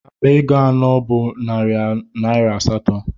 Akpa ego anọ bụ narị naira asatọ.